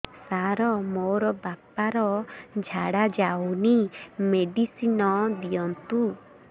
ସାର ମୋର ବାପା ର ଝାଡା ଯାଉନି ମେଡିସିନ ଦିଅନ୍ତୁ